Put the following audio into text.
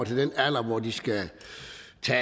til